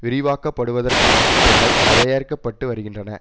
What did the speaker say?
விரிவாக்கப்படுவதற்கான திட்டங்கள் தயாரிக்க பட்டு வருகின்றன